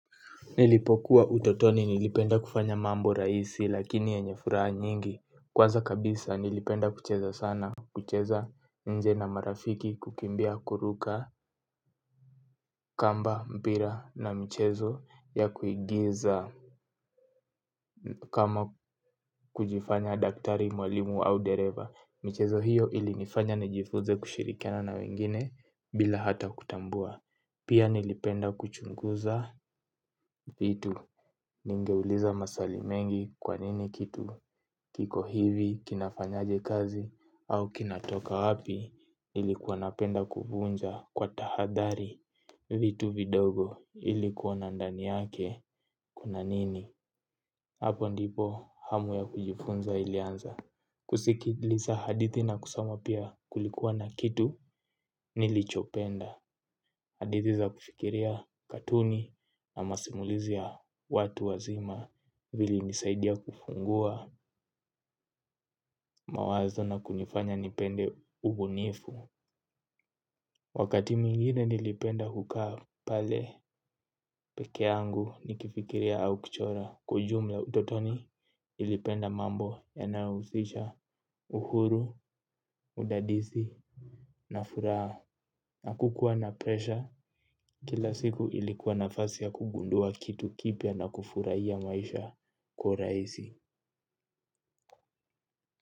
Nilipokuwa utotoni nilipenda kufanya mambo rahisi lakini yenye furaha nyingi. Kwanza kabisa nilipenda kucheza sana, kucheza nje na marafiki kukimbia kuruka, kamba, mpira na mchezo ya kuigiza kama kujifanya daktari mwalimu au dereva. Michezo hiyo ilinifanya nijifuze kushirikana na wengine bila hata kutambua. Pia nilipenda kuchunguza vitu. Ningeuliza maswali mengi kwa nini kitu kiko hivi, kinafanyaje kazi. Au kinatoka wapi. Nilikuwa napenda kuvunja kwa tahadhari vitu vidogo ili kuona ndani yake kuna nini. Hapo ndipo hamu ya kujifunza ilianza. Kusikiliza hadithi na kusoma pia kulikuwa na kitu Nilichopenda Hadithi za kufikiria katuni na masimulizi ya watu wazima. Vilinisaidia kufungua mawazo na kunifanya nipende ubunifu. Wakati mwingine nilipenda kukaa pale peke yangu. Nikifikiria au kuchora. Kwa ujumla utotoni nilipenda mambo yanayohusisha uhuru, udadizi na furaha hakukuwa na presha kila siku ilikuwa nafasi ya kugundua kitu kipya na kufurahia maisha kwa urahisi.